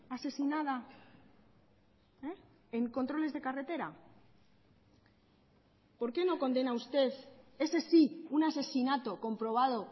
asesinada en controles de carretera por qué no condena usted ese sí un asesinato comprobado